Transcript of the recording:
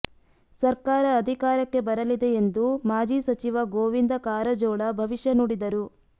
ಸರ್ಕಾರ ಅಧಿಕಾರಕ್ಕೆ ಬರಲಿದೆ ಎಂದು ಮಾಜಿ ಸಚಿವ ಗೋವಿಂದ ಕಾರಜೋಳ ಭವಿಷ್ಯ ನುಡಿದರು